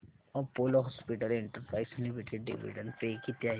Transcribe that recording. Apollo hospitals enterprise limited dividend पे किती आहे